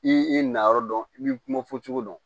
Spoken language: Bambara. I nayɔrɔ dɔn i b'i kuma fɔ cogo dɔn